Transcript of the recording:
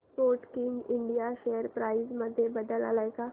Sportking India share price मध्ये बदल आलाय का